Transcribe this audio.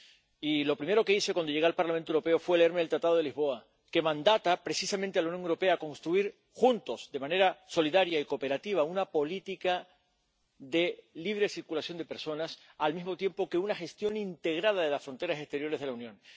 Y lo primero que hice cuando llegué al Parlamento Europeo fue leerme el Tratado de Lisboa, que mandata precisamente a la Unión Europea construir juntos, de manera solidaria y cooperativa, una política de libre circulación de personas, al mismo tiempo que una gestión integrada de las fronteras exteriores de la Unión.